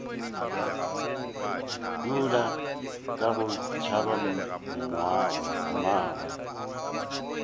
yola ka go tšhaba mmagwe